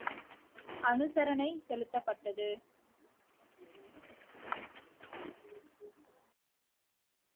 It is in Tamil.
அனுசரணை செலுத்தப்பட்டது